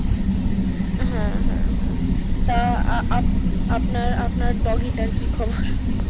হ্যাঁ হ্যাঁ হ্যাঁ তো আপনার আপনার doggy টার কি খবর?